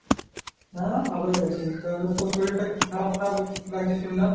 হ্যাঁ ভালোই আছি, তো আজ তোর শরীরটা খারাপ খারাপ লাগছে শুনলাম?